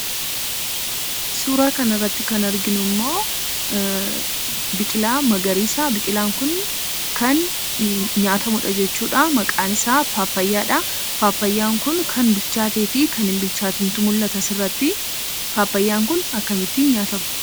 Suuraa kana irratti kan arginu biqiltaa magariisa. Biiqilaan kun kan nyaatamudha. Maqaan isaa "Paappayyaa" dha. Paappayyaan kun kan bilchaateefi kan hinbilchaatiintu mul'ata asirratti. Paappayyaan kun akkamitti nyaatama?